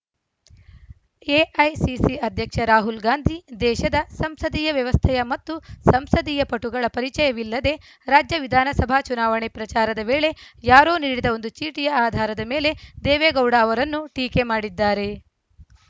AICC ಅಧ್ಯಕ್ಷ ರಾಹುಲ್‌ ಗಾಂಧಿ ದೇಶದ ಸಂಸದೀಯ ವ್ಯವಸ್ಥೆಯ ಮತ್ತು ಸಂಸದೀಯ ಪಟುಗಳ ಪರಿಚಯವಿಲ್ಲದೆ ರಾಜ್ಯ ವಿಧಾನಸಭಾ ಚುನಾವಣೆ ಪ್ರಚಾರದ ವೇಳೆ ಯಾರೋ ನೀಡಿದ ಒಂದು ಚೀಟಿಯ ಆಧಾರದ ಮೇಲೆ ದೇವೇಗೌಡ ಅವರನ್ನು ಟೀಕೆ ಮಾಡಿದ್ದಾರೆ